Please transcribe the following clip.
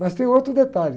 Mas tem outro detalhe.